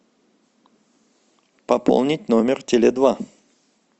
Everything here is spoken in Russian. пополнить номер теле два